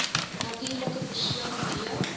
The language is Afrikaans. natuurlike persone d